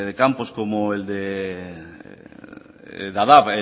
campos como el de dadaab